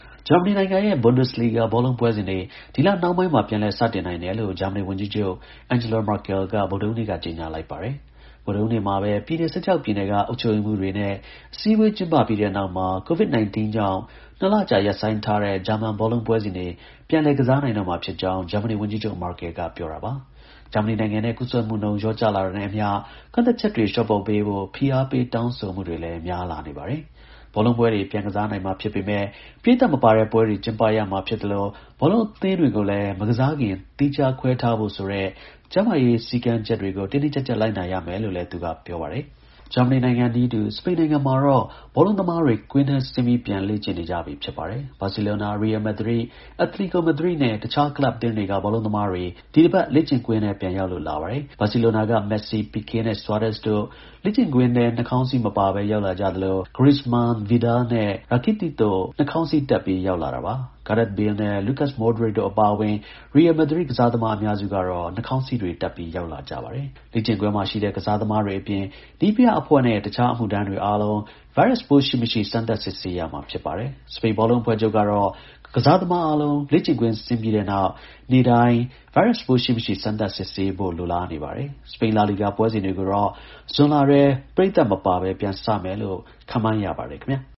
ဂျာမနီနိုင်ငံရဲ့ Bundesliga ဘောလုံး ပွဲစဉ်တွေ ဒီလ နှောင်းပိုင်းမှာ ပြန်လည် စတင်နိုင်တယ်လို့ ဂျာမနီ ဝန်ကြီးချုပ် Angela Merkel က ဗုဒ္ဓဟူးနေ့က ကြေညာလိုက်ပါတယ်။ ဗုဒ္ဓဟူးနေ့မှာပဲ ပြည်နယ် ၁၆ ပြည်နယ်က အုပ်ချုပ်ရေးမှူးတွေနဲ့ အစည်းအဝေး ကျင်းပပြီးတဲ့နောက်မှာ Covid-19 ကြောင့်၂ လကြာ ရပ်ဆိုင်းထားတဲ့ ဂျာမန် ဘောလုံးပွဲစဉ်တွေ ပြန်လည် ကစားနိုင်တော့မှာဖြစ်ကြောင်း ဂျာမနီ ဝန်ကြီးချုပ် Merkel ပြောတာပါ။ ဂျာမနီနိုင်ငံမှာ ကူးစက်မှုနှုန်း လျော့ကျလာတာနဲ့အမျှ ကန့်သတ်ချက်တွေ လျှော့ပေါ့ပေးဖို့ ဖိအားပေး တောင်းဆိုမှုတွေ များလာနေတာလည်း ဖြစ်ပါတယ်။ ဘောလုံးပွဲတွေ ပြန်ကစားနိုင်မှာဖြစ်ပေမဲ့ ပရိသတ်မပါတဲ့ပွဲတွေ ကျင်းပရမှာ ဖြစ်သလို ဘောလုံးအသင်းတွေကိုလည်း မကစားခင် သီးခြား ခွဲထားဖို့ဆိုတဲ့ ကျန်းမာရေး စည်းကမ်းတွေကို တင်းတင်းကျပ်ကျပ် လိုက်နာရမယ်လို့လည်း သူက ပြောပါတယ်။ စပိန်နိုင်ငံမှာတော့ ဘောလုံးသမားတွေ ကွင်းထဲဆင်းပြီး ပြန်လေ့ကျင့်နေကြပြီ ဖြစ်ပါတယ်။ ဘာဆီလိုနာ၊ ရီရယ် မက်ဒရစ်၊ အက်တလီကို မက်ဒရစ်နဲ့ တခြား ကလပ်အသင်းတွေက ဘောလုံးသမားတွေ ဒီတစ်ပတ် လေ့ကျင့်ကွင်းထဲ ပြန်ရောက်လာပါတယ်။ ဘာဆီလိုနာက မက်ဆီ၊ ပီကေးနဲ့ ဆွာရက်စ်တို့ လေ့ကျင့်ကွင်းထဲ နှခေါင်းစည်း မပါဘဲ ရောက်လာကြသလို Griezmann ၊ Arturo Vidal နဲ့ Ivan Rakitic တို့ နှာခေါင်းစည်းတပ်ပြီး ရောက်လာတာပါ။ Gareth Bale နဲ့ Luka Moderic တို့အပါအဝင် ရီရယ် မက်ဒရစ်ကစားသမား အများစုကတော့ နှာခေါင်းစည်းတွေတပ်ပြီး ရောက်လာတာပါ။ လေ့ကျင်းကွင်းမှာရှိတဲ့ ကစားသမားတွေအပြင် နည်းပြအဖွဲ့နဲ့ တခြား အမှုထမ်းတွေအားလုံး ဗိုင်းရပ်ပိုး ရှိမရှိ စမ်းသပ် စစ်ဆေးရမှာ ဖြစ်ပါတယ်။ စပိန် ဘောလုံး အဖွဲ့ချုပ်ကတော့ ကစားသမားအားလုံး လေ့ကျင့်ကွင်း ဆင်းပြီတဲ့နောက် နေ့တိုင်း ဗိုင်းရပ်ပိုး ရှိမရှိ စမ်းသပ် စစ်ဆေးရဖို့ လိုလားနေပါတယ်။ စပိန် Laliga ပွဲစဉ်တွေကိုတော့ ဇွန်လထဲ ပရိသတ်မပါပဲ ပြန်စမယ်လို့ ခန့်မှန်းရပါတယ် ခင်ဗျား။